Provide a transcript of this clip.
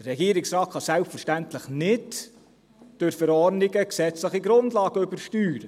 Der Regierungsrat kann durch Verordnungen selbstverständlich keine gesetzlichen Grundlagen übersteuern.